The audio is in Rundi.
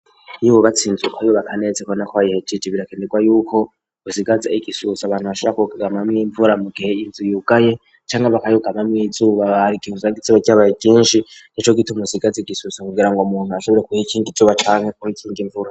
Iyoububatsinzukobbo bakanezeko na ko ayihejiji birakenerwa yuko usigaze igisuhusa abantu bashaka kugamamweimvura mukehe inzu yugaye canke abakayugamamweizuru babara igizang iziba ryabaye kinshi ni co gituma usigaze igisuso kugira ngo muntu ashobore kuha ikindi cubacanke kub ikinga imvura.